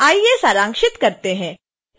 आइए सारांशित करते हैं